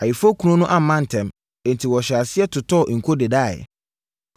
Ayeforɔkunu no amma ntɛm, enti wɔhyɛɛ aseɛ totɔɔ nko dedaeɛ.